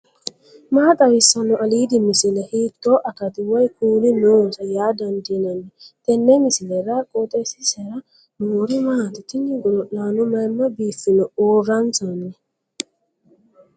maa xawissanno aliidi misile ? hiitto akati woy kuuli noose yaa dandiinanni tenne misilera? qooxeessisera noori maati ? tini godo'laano mayimma biiffino uurransanni